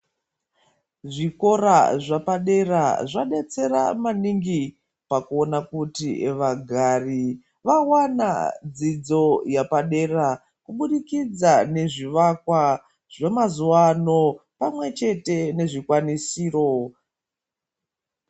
Zvikora zvepadera zvadetsera maningi pakuona kuti vagari vaona dzidzo yepadera kubudikidza ngezvivakwa zvemazuwa ano pamwe chete nezvikwanisiro.